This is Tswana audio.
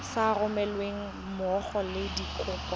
sa romelweng mmogo le dikopo